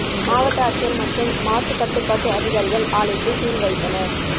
மாவட்ட ஆட்சியர் மற்றும் மாசு கட்டுப்பாட்டு அதிகாரிகள் ஆலைக்கு சீல் வைத்தனர்